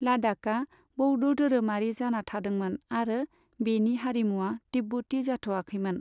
लाद्दाखआ बौद्ध धोरोमारि जाना थादोंमोन आरो बेनि हारिमुआ तिब्बती जाथ'आखैमोन।